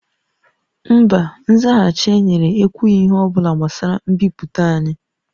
Mba, nzaghachi e nyere ekwughị ihe ọ bụla gbasara mbipụta anyị